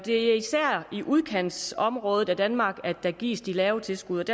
er især i udkantsområderne i danmark der gives de lave tilskud